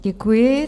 Děkuji.